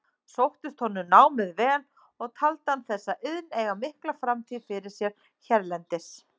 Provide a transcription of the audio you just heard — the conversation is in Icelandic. Sóttist honum námið vel og taldi hann þessa iðn eiga mikla framtíð fyrir sér hérlendis.